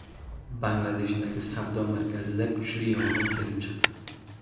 Bangladeshdagi savdo markazida kuchli yong‘in kelib chiqdi.